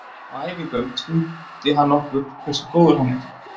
Á æfingum sýndi hann okkur hversu góður hann er.